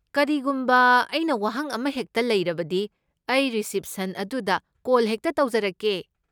ꯀꯔꯤꯒꯨꯝꯕ ꯑꯩꯅ ꯋꯥꯍꯪ ꯑꯃꯍꯦꯛꯇ ꯂꯩꯔꯕꯗꯤ, ꯑꯩ ꯔꯤꯁꯤꯞꯁꯟ ꯑꯗꯨꯗ ꯀꯣꯜ ꯍꯦꯛꯇ ꯇꯧꯖꯔꯛꯀꯦ꯫